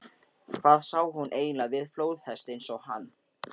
Hvað sá hún eiginlega við flóðhest eins og hann?